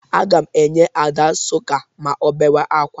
Aga m enye Ada sọka ma ọ bewe ákwá.